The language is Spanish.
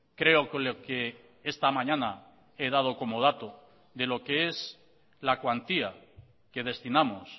creo que esta mañana he dado como dato de lo que es la cuantía que destinamos